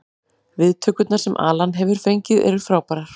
Viðtökurnar sem Alan hefur fengið eru frábærar.